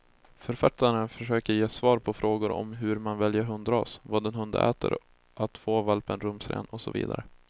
Författaren försöker ge svar på frågor om hur man väljer hundras, vad en hund äter, att få valpen rumsren och så vidare.